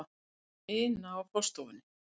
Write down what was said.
ina á forstofunni.